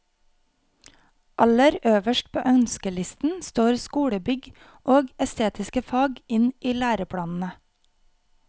Aller øverst på ønskelisten står skolebygg og estetiske fag inn i læreplanene.